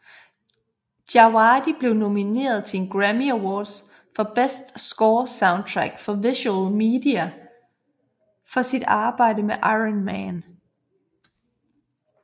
Djawadi blev nomineret til en Grammy Award for Best Score Soundtrack for Visual Media for sit arbejde med Iron Man